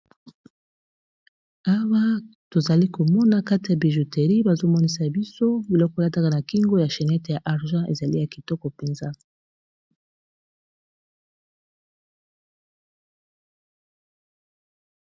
awa tozali komona kati ya bijouteri bazomonisa biso biloko elataka na kingo ya chenete ya argent ezali ya kitoko mpenza